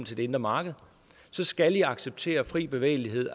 til det indre marked så skal de acceptere fri bevægelighed